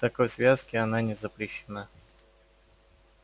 в такой связке она не запрещена